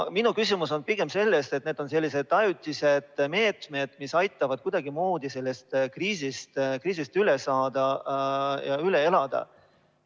Minu küsimus on pigem selles, et need on sellised ajutised meetmed, mis aitavad kuidagimoodi sellest kriisist üle saada ja seda üle elada.